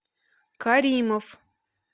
каримов